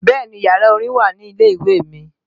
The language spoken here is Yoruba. Bẹ́ẹ̀ni yàrá orin wà ní ilé ìwé mi